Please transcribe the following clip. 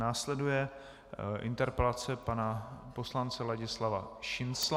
Následuje interpelace pana poslance Ladislava Šincla.